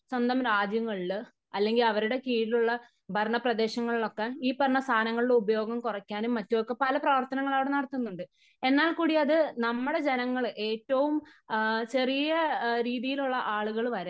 സ്വന്തം രാജ്യങ്ങളില് അല്ലെങ്കിൽ അവരുടെ കീഴിലുള്ള ഭരണ പ്രദേശങ്ങളിലൊക്കെ ഈ പറയുന്ന സാധനങ്ങളുടെ ഉപയോഗം കുറയ്ക്കാനും മറ്റും ഒക്കെ പല പ്രവർത്തനങ്ങൾ അവിടെ നടത്തുന്നുണ്ട്. എന്നാൽ കൂടി അത് നമ്മടെ ജനങ്ങള് ഏറ്റവും ചെറിയ രീതിയിലുള്ള ആളുകൾ വരെ